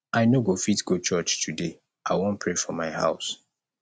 i no go fit go church today i wan pray for my house